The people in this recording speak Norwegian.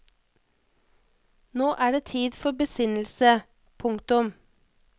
Nå er det tid for besinnelse. punktum